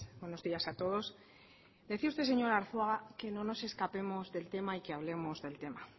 buenos días a todos decía usted señor arzuaga que no nos escapemos del tema y que hablemos del tema